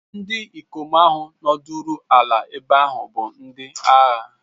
Ndi ikom ahụ nọdụrụ ala ebe ahụ bụ ndị agha.